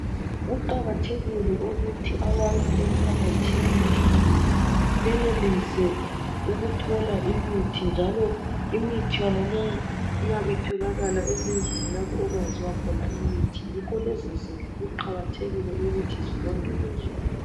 Kuqakathekile ukuthi abantu emphakathini, benelise ukuthola imithi, njalo imithi yonaleyo iyabe itholakala ezindlini lapho okwenziwa khona imithi. Ngakho lezizindlu, kuqakathekile ukuthi zilondolozwe.